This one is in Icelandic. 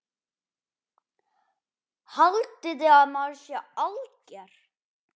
Haldiði að maður sé alger!